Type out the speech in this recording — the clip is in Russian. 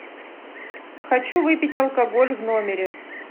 хочу выпить алкоголь в номере